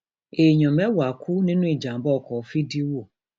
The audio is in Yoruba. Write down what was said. èèyàn mẹwàá kú nínú ìjàmbá ọkọ ní fídíwò